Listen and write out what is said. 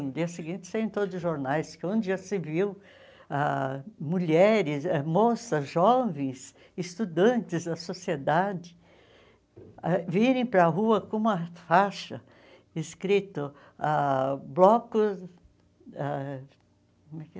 No dia seguinte, saíram em todos os jornais, onde já se viu ah mulheres, ãh moças, jovens, estudantes da sociedade ah virem para a rua com uma faixa escrito ah Bloco... Ah como é que é?